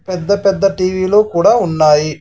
పెద్ద పెద్ద టీ_వీ లు కూడా ఉన్నాయి.